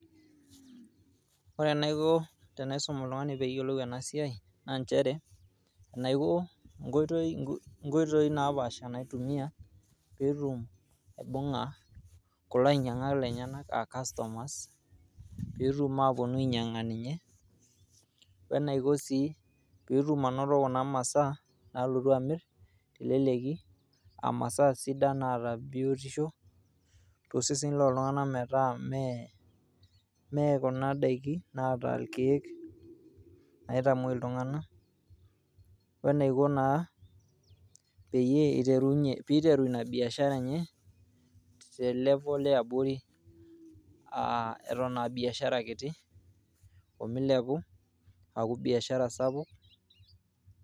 Ore enaiko tenaisum oltung'ani peyiolou enasiai, na njere, enaiko nkoitoi nkoitoii napaasha naitumia, petum aibung'a kulo ainyang'ak lenyanak ah customers, petum aponu ainyang'a ninye, wenaiko sii petum anoto kuna masaa nalotu amir teleleki, amasaa sidan naata biotisho, tosesen loltung'anak metaa mee, mee kuna daiki naata irkeek naitamoi iltung'anak, wenaiko naa, peyie iterunye piteru inabiashara enye, te level eabori, ah eton abiashara kiti, omilepu aaku biashara sapuk.